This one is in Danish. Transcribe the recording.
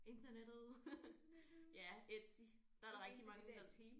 Internettet. Ja Etsy der er der rigtig mange af de der